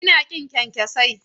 Ina ƙin kyankyasai.